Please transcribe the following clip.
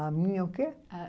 A minha o quê? A